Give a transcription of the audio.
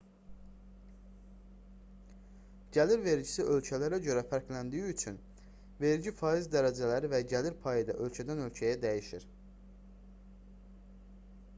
gəlir vergisi ölkələrə görə fərqləndiyi üçün vergi faiz dərəcələri və gəlir payı da ölkədən-ölkəyə dəyişir